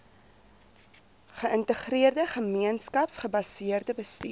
geïntegreerde gemeenskapsgebaseerde bestuur